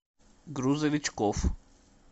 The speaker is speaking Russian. грузовичкоф